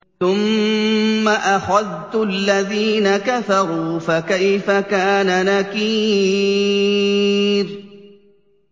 ثُمَّ أَخَذْتُ الَّذِينَ كَفَرُوا ۖ فَكَيْفَ كَانَ نَكِيرِ